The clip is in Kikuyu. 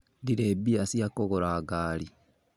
Ndirĩ mbia cia kũgura ngari